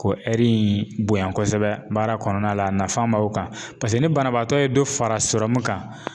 Ko in bonya kosɛbɛ baara kɔnɔna la a nafan b'aw kan paseke ni banabaatɔ ye dɔ fara sɔrɔmu kan